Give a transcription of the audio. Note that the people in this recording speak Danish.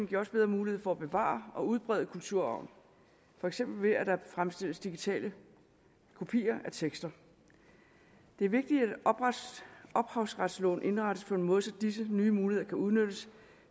giver også bedre muligheder for at bevare og udbrede kulturarven for eksempel ved at der fremstilles digitale kopier af tekster det er vigtigt at ophavsretsloven indrettes på en måde så disse nye muligheder kan udnyttes